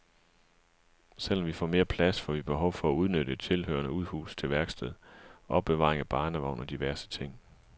Selv om vi får mere plads, får vi behov for at udnytte et tilhørende udhus til værksted, opbevaring af barnevogn og diverse ting.